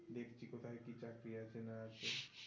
দেখছি কোথায় কি চাকরি আছে না আছে